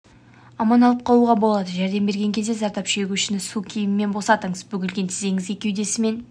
аман алып қалуға болады жәрдем берген кезде зардап шегушіні су киімнен босатыңыз бүгілген тізеңізге кеудесімен